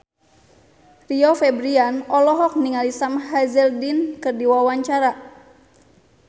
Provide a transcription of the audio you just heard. Rio Febrian olohok ningali Sam Hazeldine keur diwawancara